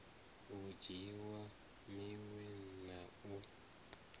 u dzhiiwa minwe na u